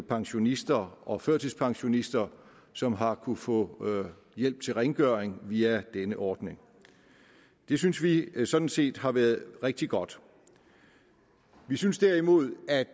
pensionister og førtidspensionister som har kunnet få hjælp til rengøring via denne ordning det synes vi sådan set har været rigtig godt vi synes derimod at